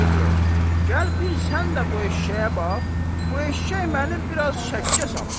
Gəl bir sən də bu eşşəyə bax, bu eşşək məni biraz şəkkə salır.